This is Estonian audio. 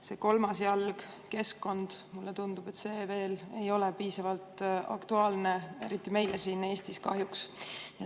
See kolmas jalg, keskkond, mulle tundub, veel ei ole piisavalt aktuaalne, eriti meile siin Eestis kahjuks.